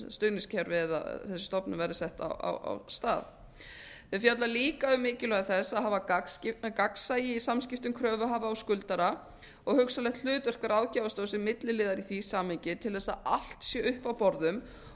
stuðningskerfi eða þessi stofnun verði sett á stað það fjallar líka um mikilvægi mikilvægi þess að hafa gagnsæi í samskiptum kröfuhafa og skuldara og hugsanlegt hlutverk ráðgjafarstofu sem milliliðar í því samhengi til þess að allt sé uppi á borðum